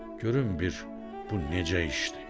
Görüm bir bu necə işdir?